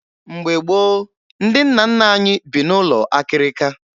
Mgbe gboo, ndị nna nna anyị bi n'ụlọ akịrịka